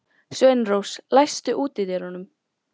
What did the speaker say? Sveinrós, læstu útidyrunum.